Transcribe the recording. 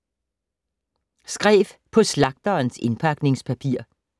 Skrev på slagterens indpakningspapir